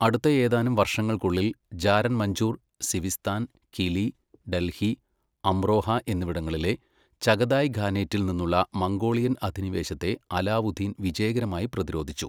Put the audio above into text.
അടുത്ത ഏതാനും വർഷങ്ങൾക്കുള്ളിൽ, ജാരൻ മഞ്ചൂർ, സിവിസ്ഥാൻ, കിലി, ഡൽഹി, അമ്രോഹ എന്നിവിടങ്ങളിലെ ചഗതായ് ഖാനേറ്റിൽ നിന്നുള്ള മംഗോളിയൻ അധിനിവേശത്തെ അലാവുദ്ദീൻ വിജയകരമായി പ്രതിരോധിച്ചു.